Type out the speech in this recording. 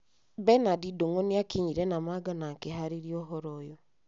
Bernard Ndung’u nĩ aakinyire Namanga na akĩhaarĩria ũhoro ũyũ.